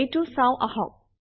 এইটো চাওঁ আহক